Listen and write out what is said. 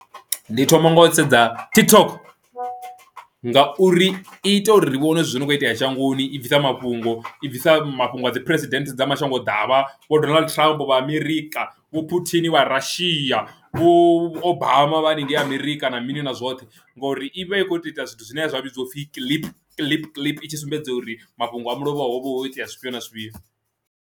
Ndi thoma nga u sedza TikTok ngauri i ita uri vhone zwithu zwo no kho itea shangoni i bvisa mafhungo i bvisa mafhungo a dzi president dza mashango ḓavha vho Donald Trump vha Amerika, vho Puthin vha Russia, Vho Obama vha haningei Amerika na mini na zwoṱhe, ngori ivha i kho ita ita zwithu zwine zwa vhidziwa upfhi kiḽipi kiḽipi tsho sumbedza uri mafhungo a mulovha hovha ho kho itea zwifhio na zwifhio.